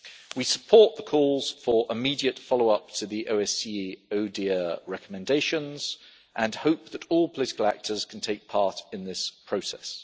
We support the calls for immediate follow up to the OSCE ODIHR recommendations and hope that all political actors can take part in this process.